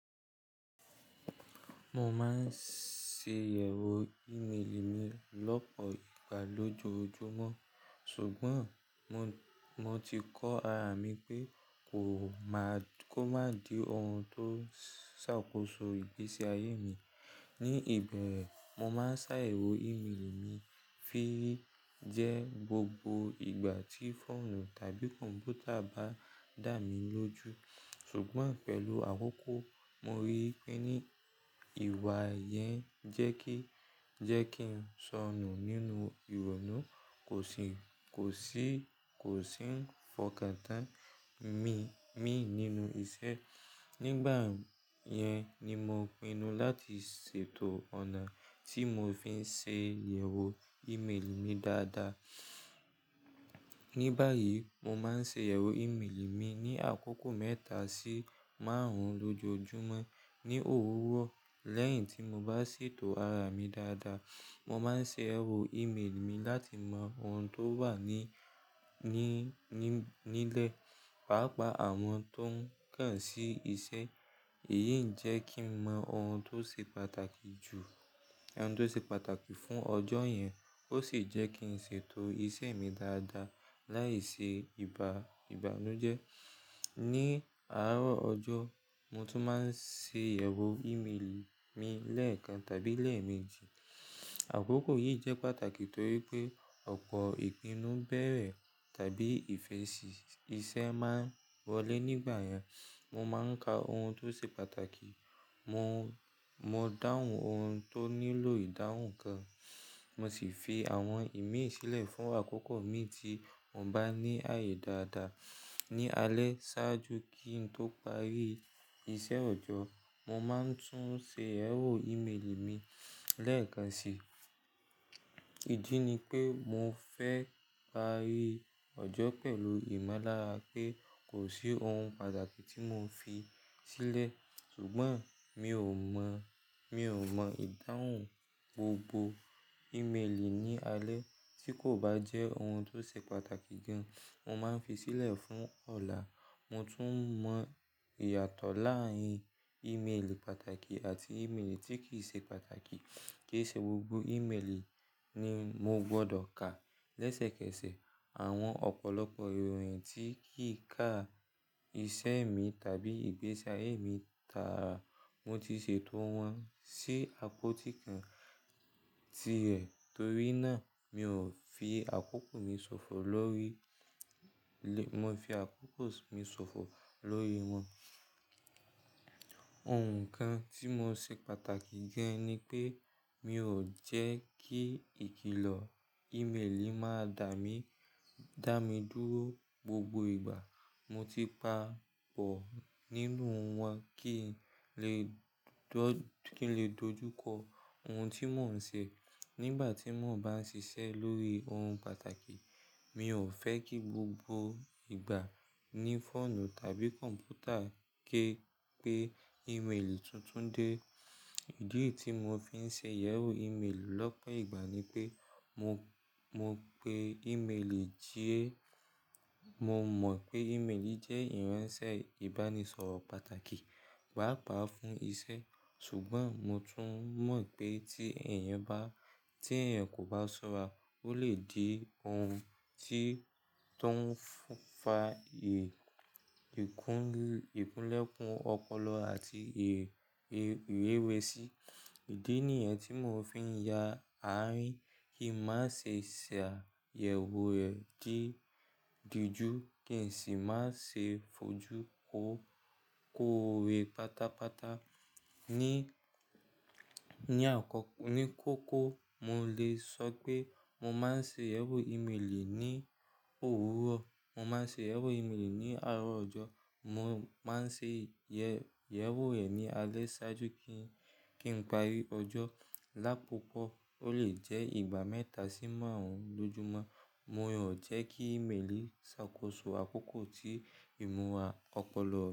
Mo máa ń ṣe yẹ̀wò ìméèlì mi lọ́pọ̀ ìgbà lójoojúmọ́, Ṣùgbọ́n mo ti kọ ara mi pé kó má di òhun tó ń ṣàkóso ìgbésí ayé mi. Ní ìbẹ̀rẹ̀, mo máa ń ṣàyẹ̀wò ìméèlì mi jẹ gbogbo ìgbà tí fóònù tàbí kọ̀ǹpútà bá dà mí lójú, Ṣùgbọ́n pẹ̀lú àkókò mo rí pé ní ìwà yẹn jẹ́ kí n sọnù nínú ìrònú, kòsí kò sì ń fọkàntán mi nínú iṣẹ́, Nígbà yẹn ni mo pinu láti ṣètò ọ̀nà tí mo fi ń ṣe yẹ̀wò ìméèlì mi dáadáa. Ní báyìí, mo máa ń ṣe yẹ̀wò ìméèlì mi ní àkókò mẹ́ta sí márùn-ún lójoojúmọ́ ní òwúrọ̀. Lẹ́yìn tí mo bá ṣètò ara mi dáadáa, mo máa ń ṣe yẹ̀wò ìméèlì mi láti mọ ohun tó wà nílẹ̀, pàápàá àwọn tó ń kàn sí iṣẹ́. Èyí ń jẹ́ kí n mọ ohun tó se pàtàkì ohun tó ṣe pàtàkì fún ọjọ́ yẹn ó sì jẹ́ kí n ṣètò ìṣe mi dáadáa láìṣe ìbànújẹ́. Ní àárọ̀ ọjọ́, mo tún máa ń ṣe yẹ̀wò ìméèlì mi lẹ́ẹ̀kan tàbí lẹ́ẹ̀mejì. Àkókò yìí jẹ́ pàtàkì torí pé ọ̀pọ̀ ìpinnu bẹ̀rẹ̀ tàbí ìfẹsì iṣẹ́ máa ń wọlé nígbà yẹn. Mo máa ń ka ohun tó ṣe pàtàkì, mo dáhùn ohun tó nílò ìdáhùn kan, mo sì fi àwọn ìmí sílẹ̀ fún àkókò mi tí mo bá ní àyè dáadáa. Ní alẹ́ ṣáájú kí n tó parí iṣẹ́ ọjọ́, mo máa ń tún ṣe yẹ̀wò ìméèlì mi lẹ́ẹ̀kan sì. Ìdí ni pé mo fẹ́ parí ọjọ́ pẹ̀lú ìmọ̀lára pé kò sí ohun pàtàkì tí mo fi sílẹ̀ ṣùgbọ́n mi ò mọ̀ ìdáhùn gbogbo ìméèlì ní alẹ́, Tí kò bá jẹ́ ohun tó ṣe pàtàkì gan, mo máa ń fi sílẹ̀ fún ọ̀la. Mo tún mọ̀ ìyàtọ̀ láàárín ìméèlì pàtàkì àti ìméèlì tí kì í ṣe pàtàkì, kí n ṣe gbogbo ìméèlì ni mo gbọdọ̀ ka lẹ́sẹ̀kẹsẹ̀, àwọn ọ̀pọ̀lọpọ̀ ìròyìn tí kì í ka iṣẹ́ mi tàbí ìgbésí ayé mi táàrà, mo ti ṣètò wọn si àpótí kan tirẹ̀. Torí náà mo fi àkókò mi sòfò lórí wọn. Òǹkà tímo ṣe pàtàkì gan ni pé mi ò jẹ́ kí ìkìlọ̀ ìméèlì máa dà mí dúró gbogbo ìgbà. Mo ti pa pọ̀ nínú wọn kí n lè dojúkọ ohun tí mò ń ṣe. Nígbà tí mò ń bá ń ṣiṣẹ́ lórí ohun pàtàkì, mi ò fẹ́ kí gbogbo ìgbà ní fóònù tàbí kọ̀ǹpútà gé pé ìméèlì tuntun dé. Ìdí tí mo fi ń ṣe yẹ̀wò ìméèlì lọ́pọ̀ ìgbà ni pé mo mọ̀ pé ìméèlì jẹ́ ìránṣẹ́ ìbánisọ̀rọ̀ pàtàkì, pàápàá fún iṣẹ́. Ṣùgbọ́n mo tún mọ̀ pé tí èèyàn kò bá ṣọ́ra, ó lè di ohun tí ó ń fa ìkúnlẹ̀kùn ọpọlọ àti ìwéwẹ̀sí. Ìdí nìyẹn tí mo fi ń yà á rín kí n má ṣe ṣàyẹ̀wò rẹ̀ di ojú kí èsì má ṣe fojú kó wé pátápátá. Ní kókó, mo lè sọ pé mo máa ń ṣe yẹ̀wò ìméèlì ní òwúrọ̀, mo máa ń ṣe yẹ̀wò ìméèlì ní àárọ̀ ọjọ́, mo máa ń ṣe yẹ̀wò rẹ̀ ní alẹ́ ṣáájú kí n parí ọjọ́. Lápapọ̀ ó lè jẹ́ ìgbà mẹ́ta sí márùn-ún lójoojúmọ́. Mo ò jẹ́ kí ìméèlì ṣàkóso àkókò tí ìmúra ọpọlọ.